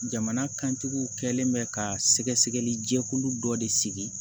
Jamana kantigiw kɛlen bɛ ka sɛgɛsɛgɛli jɛkulu dɔ de sigi